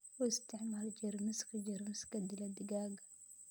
U isticmaal jeermiska jeermiska dila digaagga.